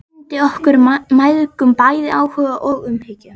Hún sýndi okkur mæðgum bæði áhuga og umhyggju.